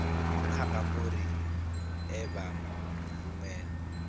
kha bammbiri e vha rumelwa